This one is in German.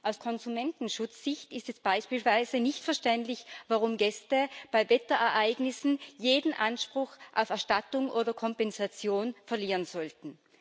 Aus Konsumentenschutzsicht ist es beispielsweise nicht verständlich, warum Gäste bei Wetterereignissen jeden Anspruch auf Erstattung oder Kompensation verlieren sollten.